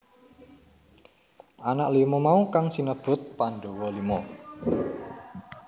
Anak lima mau kang sinebut Pandhawa Lima